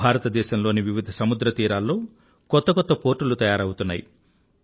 భారతదేశంలోని వివిధ సముద్రతీరాల్లో కొత్త కొత్త పోర్టులు తయారవుతున్నాయి